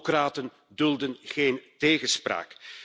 Autocraten dulden geen tegenspraak.